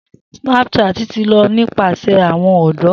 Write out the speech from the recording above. Snapchat ti ló nípasẹ̀ awọn ọdọ.